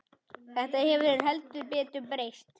Þetta hefur heldur betur breyst.